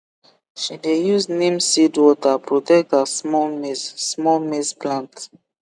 she dey use neem seed water protect her small maize small maize plant